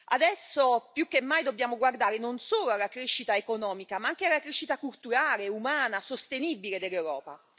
Adesso più che mai dobbiamo guardare non solo alla crescita economica, ma anche alla crescita culturale, umana e sostenibile dell'Europa.